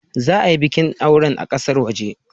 Za a yi bikin aure a kasar waje.